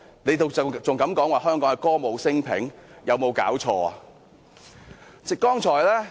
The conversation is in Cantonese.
政府還敢說香港歌舞昇平，有沒有搞錯？